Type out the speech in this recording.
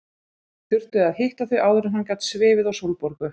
Þurfti að hitta þau áður en hann gat svifið á Sólborgu.